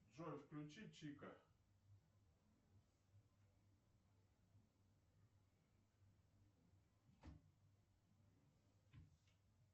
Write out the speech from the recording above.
джой включи чика